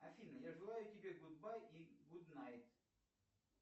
афина я желаю тебе гуд бай и гуд найт